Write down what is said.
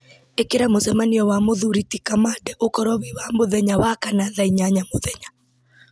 ĩkĩra mũcemanio wa mũthuri ti kamande ũkorwo wĩ wa mũthenya wa kana thaa inyanya mũthenya